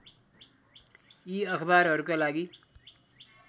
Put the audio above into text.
यी अखबारहरूका लागि